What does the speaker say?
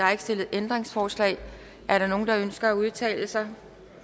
er ikke stillet ændringsforslag er der nogen der ønsker at udtale sig